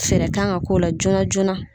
Fɛɛrɛ kan ka k'o la joona joona